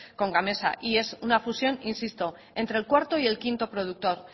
con gamesa y es una fusión insisto entre el cuarto y el quinto productor